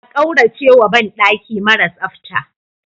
A kauracewa ban daki mara tsafta.